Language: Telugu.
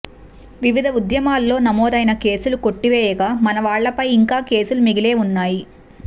వివిధ ఉద్యమాల్లో నమోదైన కేసులు కొట్టివేయగా మనవాళ్లపై ఇంకా కేసులు మిగిలే ఉన్నాయి